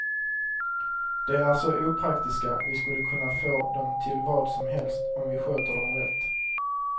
De är så opraktiska, vi skulle kunna få dem till vad som helst om vi sköter dem rätt.